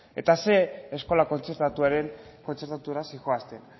eta zein eskola kontzertatura zihoazen